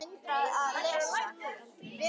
Við Linda drógumst því aldrei inn í Málið.